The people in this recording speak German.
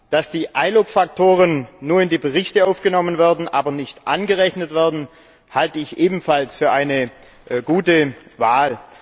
Dass die iLUC Faktoren nur in die Berichte aufgenommen, aber nicht angerechnet werden, halte ich ebenfalls für eine gute Wahl.